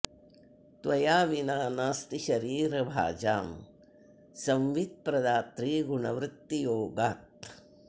त्वया विना नास्ति शरीर भाजां संवित्प्रदात्री गुणवृत्ति योगात्